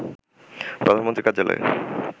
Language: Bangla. প্রধানমন্ত্রীর কার্যালয়ে